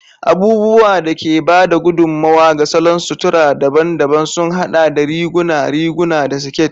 Abubuwan da ke ba da gudummawa ga salon sutura daban-daban sun haɗa da riguna, riguna, da siket.